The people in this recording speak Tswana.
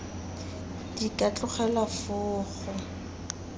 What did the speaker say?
di ka tlogelwa foo go